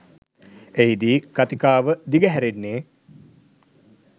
එහිදී කතිකාව දිගහැරෙන්නේ